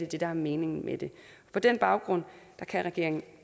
det der er meningen på den baggrunden kan regeringen